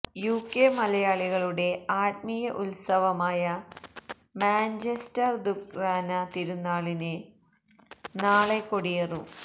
UK മലയാളികളുടെ ആത്മീയ ഉത്സവമായ മാഞ്ചസ്റ്റര് ദുക്റാന തിരുന്നാളിന് നാളെ കൊടിയേറും